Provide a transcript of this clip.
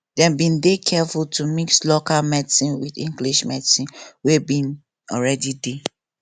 dem been dey careful to mix local medicine with english medicine wey been already dey